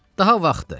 Daha vaxtdır.